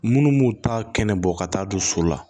Munnu m'u ta kɛnɛ bɔ ka taa don so la